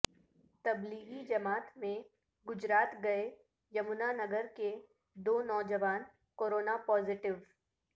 تبلیغی جماعت میں گجرات گئے یمنا نگر کے دو نوجوان کورونا پازیٹیو